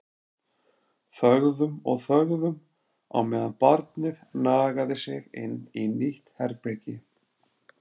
Þögðum og þögðum á meðan barnið nagaði sig inn í nýtt herbergi.